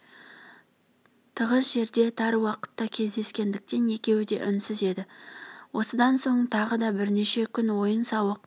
тығыз жерде тар уақытта кездескендіктен екеуі де үнсіз еді осыдан соң тағы да бірнеше күн ойын-сауық